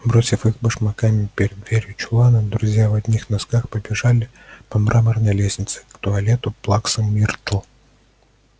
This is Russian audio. бросив их башмаками перед дверью чулана друзья в одних носках побежали по мраморной лестнице к туалету плаксы миртл